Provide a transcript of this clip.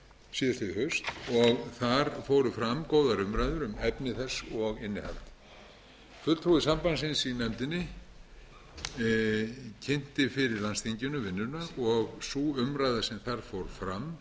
haust og þar fóru fram góðar umræður um efni þess og innihald fulltrúi sambandsins í nefndinni kynnti vinnuna fyrir landsþinginu og sú umræða sem þar fór fram